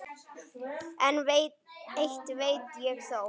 En eitt veit ég þó.